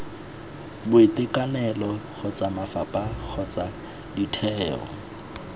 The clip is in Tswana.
boitekanelo kgotsa mafapha kgotsa ditheo